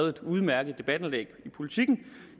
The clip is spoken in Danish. et udmærket debatindlæg i politiken